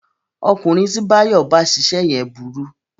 Ọkùnrin tí Báyọ̀ bá ṣiṣẹ́ yẹn burú